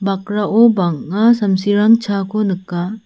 bakrao bang·a samsirang chaako nika.